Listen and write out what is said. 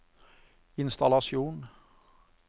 innstallasjon